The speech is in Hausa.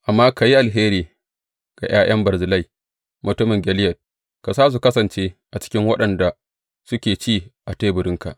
Amma ka yi alheri ga ’ya’yan Barzillai mutumin Gileyad, ka sa su kasance a cikin waɗanda suke ci a teburinka.